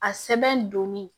A sɛbɛn donni